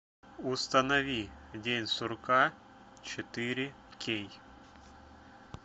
установи день сурка четыре кей